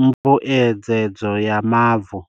mbuedzedzo ya mavu.